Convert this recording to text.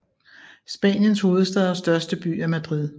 Spaniens hovedstad og største by er Madrid